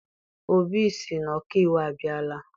Obi sị na ọkaiwu abịala.